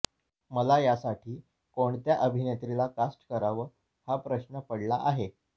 मला यासाठी कोणत्या अभिनेत्रीला कास्ट करावं हा प्रश्न पडला आहे